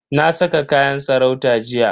Na saka kayan sarauta jiya.